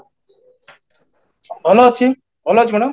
ଭଲ ଅଛି, ଭଲ ଅଛି ମାଡ଼ାମ